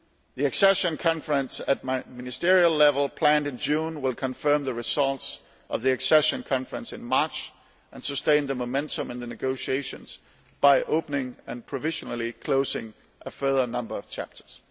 The accession conference at ministerial level planned for June will confirm the results of the accession conference in March and sustain the momentum in the negotiations by opening and provisionally closing a further number of chapters.